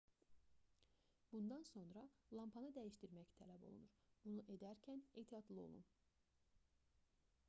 bundan sonra lampanı dəyişdirmək tələb olunur bunu edərkən ehtiyatlı olun